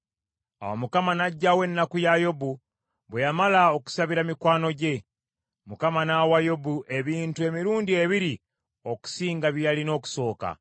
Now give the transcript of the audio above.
Awo Mukama n’aggyawo ennaku ya Yobu bwe yamala okusabira mikwano gye. Mukama n’awa Yobu ebintu emirundi ebiri okusinga bye yalina okusooka.